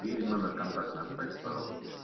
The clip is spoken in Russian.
и номер контактный оставьте пожалуйста